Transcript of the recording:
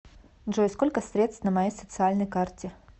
джой сколько средств на моей социальной карте